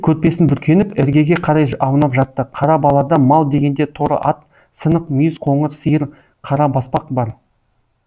көрпесін бүркеніп іргеге қарай аунап жатты қара балада мал дегенде торы ат сынық мүйіз қоңыр сиыр қара баспақ бар